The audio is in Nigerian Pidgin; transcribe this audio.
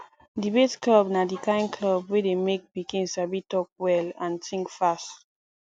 debate club na di kain club wey dey make pikin sabi talk well and think fast